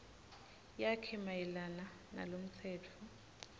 yakhe mayelana nalomtsetfo